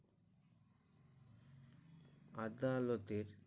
আদালতে